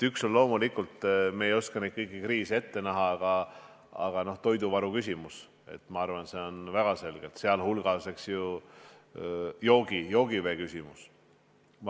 Üks on loomulikult – me ei oska küll kõikvõimalikke kriise ette näha – toiduvaru küsimus, sealhulgas joogivee küsimus.